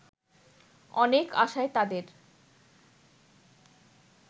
অনেক আশায় তাদের